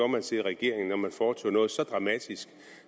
man sig i regeringen når man foretog sig noget så dramatisk